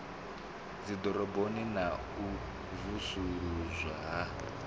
dziḓoroboni na u vusuludzwa ha